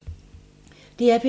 DR P3